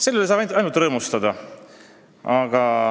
Selle üle saab ainult rõõmustada.